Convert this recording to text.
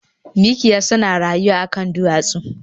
Mikiya suna rayuwa a kan duwatsu